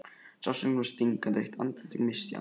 Sársaukinn var stingandi og eitt andartak missti ég andann.